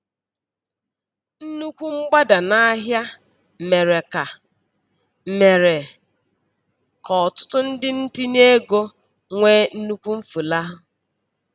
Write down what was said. Nnukwu mgbada n'ahịa mere ka mere ka ọtụtụ ndị ntinyeego nwee nnukwu mfulahụ.